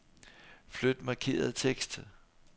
Flyt markerede tekst.